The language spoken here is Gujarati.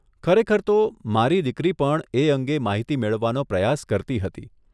ખરેખર તો, મારી દીકરી પણ એ અંગે માહિતી મેળવવાનો પ્રયાસ કરતી હતી.